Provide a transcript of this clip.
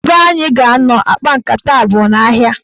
Ebe anyị ga-anọ kpaa nkata a bụ n'ahịa.